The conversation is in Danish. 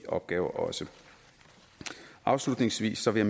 opgaver også afslutningsvis vil